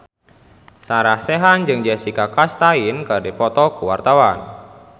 Sarah Sechan jeung Jessica Chastain keur dipoto ku wartawan